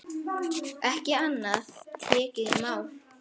Ekki annað tekið í mál.